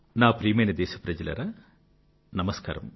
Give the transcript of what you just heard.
నా ప్రియమైన దేశప్రజలారా నమస్కారం